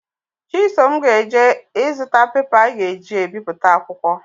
Chisom ga-eje ịzụta pepa a ga-eji ebiputa akwụkwọ